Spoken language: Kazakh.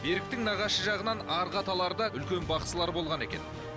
беріктің нағашы жағынан арғы аталары да үлкен бақсылар болған екен